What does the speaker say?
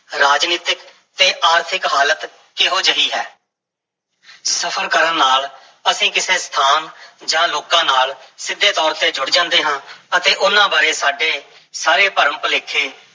ਰਾਜਨੀਤਕ ਤੇ ਆਰਥਿਕ ਹਾਲਤ ਕਿਹੋ ਜਿਹੀ ਹੈ ਸਫ਼ਰ ਕਰਨ ਨਾਲ ਅਸੀਂ ਕਿਸੇ ਸਥਾਨ ਜਾਂ ਲੋਕਾਂ ਨਾਲ ਸਿੱਧੇ ਤੌਰ ਤੇ ਜੁੜ ਜਾਂਦੇ ਹਾਂ ਅਤੇ ਉਹਨਾਂ ਬਾਰੇ ਸਾਡੇ ਸਾਰੇ ਭਰਮ-ਭੁਲੇਖੇ